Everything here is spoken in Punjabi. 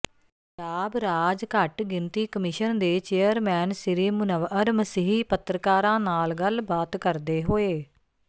ਪੰਜਾਬ ਰਾਜ ਘੱਟ ਗਿਣਤੀ ਕਮਿਸ਼ਨ ਦੇ ਚੇਅਰਮੈਨ ਸ੍ਰੀ ਮੁਨੱਵਅਰ ਮਸੀਹ ਪੱਤਰਕਾਰਾਂ ਨਾਲ ਗੱਲਬਾਤ ਕਰਦੇ ਹੋਏ